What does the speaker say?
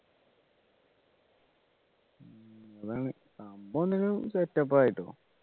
സംഭവം എന്തെങ്കിലും set up ആയി ട്ടോ